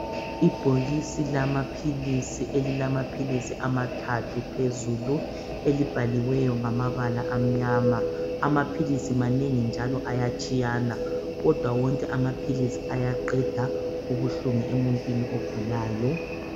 ibhokisi lamaphilisi elilamaphilisi amathathu phezulu elibhaliweyo ngamabala amnyama amaphilisi manengi njalo ayatshiyana kodwa wonke amaphilisi ayaqeda ubuhlungu emuntwini ogulayo